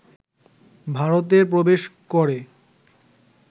ভারতে প্রবেশ করে